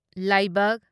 ꯂꯥꯢꯕꯛ